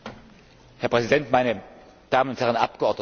Herr Präsident, meine Damen und Herren Abgeordneten!